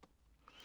DR1